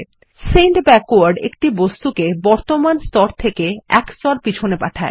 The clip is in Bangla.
সেন্ড ব্যাকওয়ার্ড একটি বস্তুকে বর্তমান স্তর থেকে এক স্তর পিছনে পাঠায়